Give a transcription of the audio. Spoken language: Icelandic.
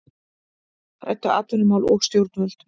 Ræddu atvinnumál við stjórnvöld